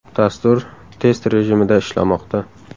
Dastur test rejimida ishlamoqda.